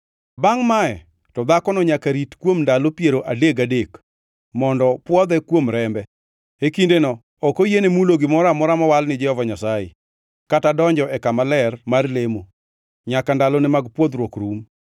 Bangʼ mae to dhakono nyaka rit kuom ndalo piero adek gadek, mondo pwodhe kuom rembe. E kindeno ok oyiene mulo gimoro amora mowal ni Jehova Nyasaye, kata donjo e kama ler mar lemo, nyaka ndalone mag pwodhruok rum.